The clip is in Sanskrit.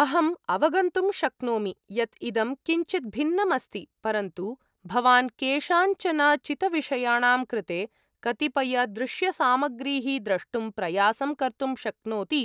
अहम् अवगन्तुं शक्नोमि यत् इदं किञ्चित् भिन्नम् अस्ति, परन्तु भवान् केषाञ्चन चितविषयाणां कृते कतिपयदृश्यसामग्रीः द्रष्टुं प्रयासं कर्तुं शक्नोति,